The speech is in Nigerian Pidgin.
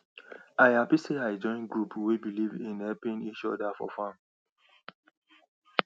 i happy say i join group wey believe in helping each other for farm